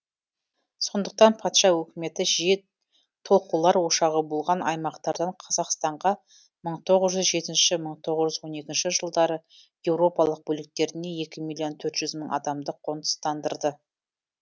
сондықтан патша өкіметі жиі толқулар ошағы болған аймақтардан қазақстанға мың тоғыз жүз жетінші мың тоғыз жүз он екінші жылдары еуропалық бөліктерінен екі миллион төрт жүз мың адамды қоныстандырды